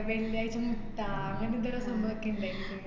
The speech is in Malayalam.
വെള്ളിയാഴ്ച മുട്ട അങ്ങനെ എന്താലോ സംഭവോക്കെ ഇണ്ടേര്ന്നു.